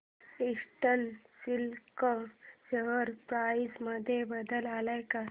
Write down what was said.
eastern Silk share price मध्ये बदल आलाय का